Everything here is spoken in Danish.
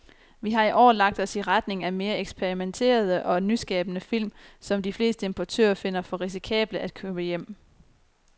Vi har i år lagt os i retning af mere eksperimenterede og nyskabende film, som de fleste importører finder for risikable at købe hjem.